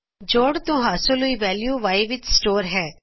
ਜੋੜ ਤੋ ਹਾਸਲ ਹੋਈ ਵੈਲਯੂ Y ਵਿਚ ਸਟੋਰ ਹੈ